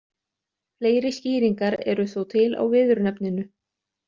Fleiri skýringar eru þó til á viðurnefninu.